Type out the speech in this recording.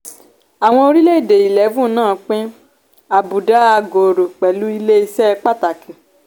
àwọn orílẹ̀ èdè eleven náà pín àbùdá àgòòrò pẹ̀lú ilé ìṣe pàtàkì.